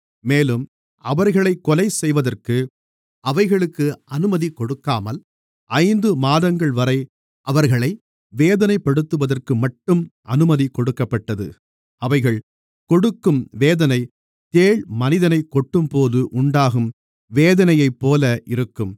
மேலும் அவர்களைக் கொலைசெய்வதற்கு அவைகளுக்கு அனுமதி கொடுக்காமல் ஐந்து மாதங்கள்வரை அவர்களை வேதனைப்படுத்துவதற்குமட்டும் அனுமதி கொடுக்கப்பட்டது அவைகள் கொடுக்கும் வேதனை தேள் மனிதனைக் கொட்டும்போது உண்டாகும் வேதனையைப்போல இருக்கும்